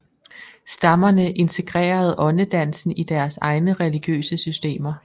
Stammerne integrerede åndedansen i deres egne religiøse systemer